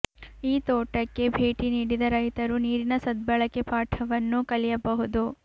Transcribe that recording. ಈ ತೋಟಕ್ಕೆ ಭೇಟಿ ನೀಡಿದ ರೈತರು ನೀರಿನ ಸದ್ಬಳಕೆ ಪಾಠವನ್ನೂ ಕಲಿಯಬಹುದು